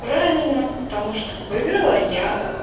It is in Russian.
правильно потому что выиграла я